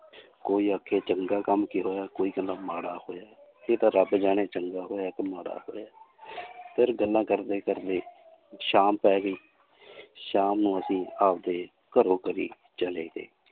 ਕੋਈ ਆਖੇ ਚੰਗਾ ਕੰਮ ਕੀ ਹੋਇਆ ਕੋਈ ਕਹਿੰਦਾ ਮਾੜਾ ਹੋਇਆ ਇਹ ਤਾਂ ਰੱਬ ਜਾਣੇ ਚੰਗਾ ਹੋਇਆ ਕਿ ਮਾੜਾ ਹੋਇਆ ਫਿਰ ਗੱਲਾਂ ਕਰਦੇ ਕਰਦੇ ਸ਼ਾਮ ਪੈ ਗਈ ਸ਼ਾਮ ਨੂੰ ਅਸੀਂ ਆਪਦੇ ਘਰੋ ਘਰੀਂ ਚਲੇ ਗਏ l